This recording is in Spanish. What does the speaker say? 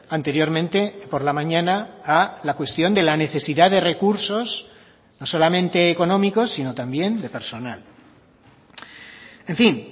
anteriormente por la mañana a la cuestión de la necesidad de recursos no solamente económicos sino también de personal en fin